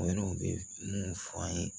O yɛrɛ o bɛ mun fɔ an ye